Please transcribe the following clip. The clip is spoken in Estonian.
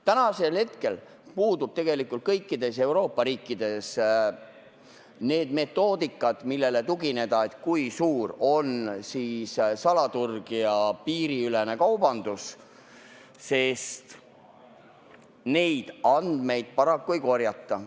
Täna puuduvad kõikides Euroopa riikides metoodikad, millele tugineda, et, kui suur on salaturg ja piiriülene kaubandus, sest neid andmeid paraku ei korjata.